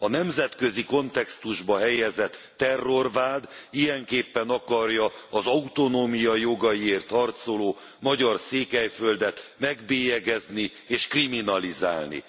A nemzetközi kontextusba helyezett terrorvád ilyenképpen akarja az autonómiajogaiért harcoló magyar Székelyföldet megbélyegezni és kriminalizálni.